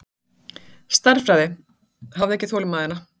Stærðfræði, hafði ekki þolinmæðina.